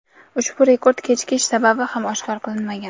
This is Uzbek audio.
ushbu rekord kechikish sababi ham oshkor qilinmagan.